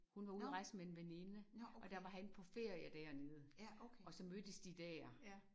Hun var ude at rejse med en veninde og der var han på ferie dernede og så mødtes de der